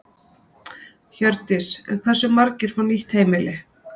Hjördís: En hversu margir fá nýtt heimili?